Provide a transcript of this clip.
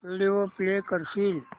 video play करशील